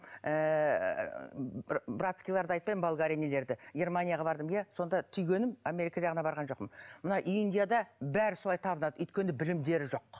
ыыы братскиларды айтпаймын болгария нелерді германияға бардым иә сонда түйгенім америка жағына барған жоқпын мына индияда бәрі солай табынады өйткені білімдері жоқ